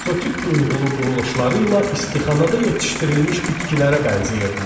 Eksotik duyğulu quruluşları ilə istixanada yetişdirilmiş bitkilərə bənzəyirdilər.